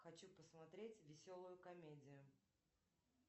хочу посмотреть веселую комедию